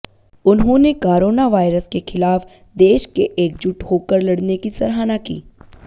उन्होंने corona virus के ख़िलाफ़ देश के एकजुट होकर लड़ने की सराहना की